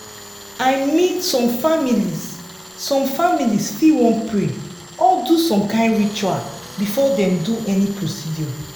i mean some families some families fit wan pray or do some kind ritual before dem do any procedure.